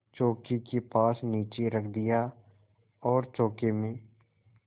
चौकी के पास नीचे रख दिया और चौके में